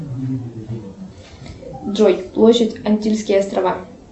джой площадь антильские острова